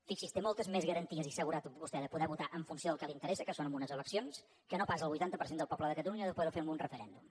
fixi’s té moltes més garanties i seguretat vostè de poder votar en funció del que li interessa que és en unes eleccions que no pas el vuitanta per cent del poble de catalunya de poder ho fer en un referèndum